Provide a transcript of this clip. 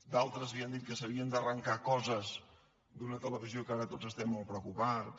d’altres havien dit que s’havien d’arrancar coses d’una televisió que ara tots estem molt preocupats